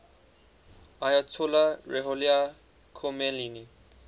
ayatollah ruhollah khomeini